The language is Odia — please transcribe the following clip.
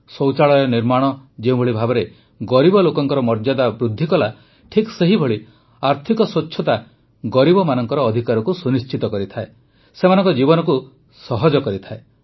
ଶୌଚାଳୟ ନିର୍ମାଣ ଯେଉଁଭଳି ଭାବେ ଗରିବ ଲୋକଙ୍କ ମର୍ଯ୍ୟାଦା ବୃଦ୍ଧି କଲା ଠିକ ସେହିଭଳି ଆର୍ଥିକ ସ୍ୱଚ୍ଛତା ଗରିବମାନଙ୍କ ଅଧିକାରକୁ ସୁନିଶ୍ଚିତ କରିଥାଏ ସେମାନଙ୍କ ଜୀବନକୁ ସହଜ କରିଥାଏ